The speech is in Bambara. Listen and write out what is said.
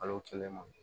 Kalo kelen ma